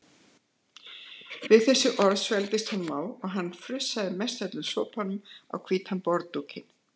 Við þessi orð svelgdist honum á og hann frussaði mestöllum sopanum á hvítan borðdúkinn.